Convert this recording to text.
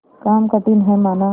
काम कठिन हैमाना